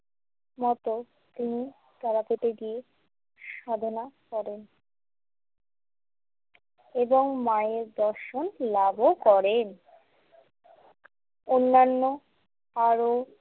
মতো তিনি তারাপীঠে গিয়ে সাধনা করেন এবং মায়ের দর্শন লাভও করেন অন্যান্য আরও।